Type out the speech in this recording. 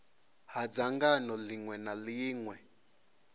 ha dzangano ḽiṅwe na ḽiṅwe